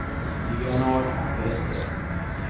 Leonard Wester